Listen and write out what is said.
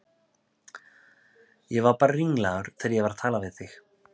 Ég var bara ringlaður þegar ég var að tala við þig.